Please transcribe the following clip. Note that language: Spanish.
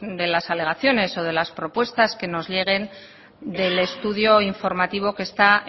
de las alegaciones o de las propuestas que nos lleguen del estudio informativo que está